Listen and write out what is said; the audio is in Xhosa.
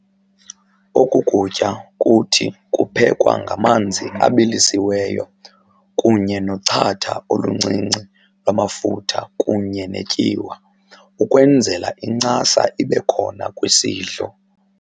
Oku kutya kuthi kuphekwa ngamanzi abilisiweyo kunye nochatha oluncinci lwamafutha kunye netyiwa ukwenzela incasa ibe khona kwisidlo.